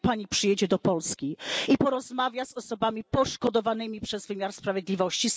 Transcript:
Kiedy Pani przyjedzie do Polski i porozmawia z osobami poszkodowanymi przez wymiar sprawiedliwości?